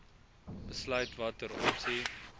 besluit watter opsie